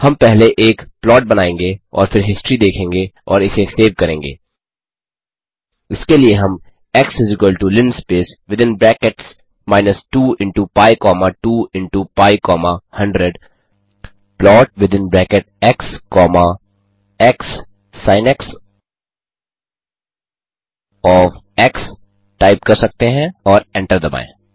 हम पहले एक प्लॉट बनाएँगे और फिर हिस्ट्री देखेंगे और इसे सेव करेंगे इसके लिए हम x linspace within brackets minus 2 into pi comma 2 into pi comma 100 plot within bracket x comma x sin cos x type कर सकते हैं और एंटर दबाएँ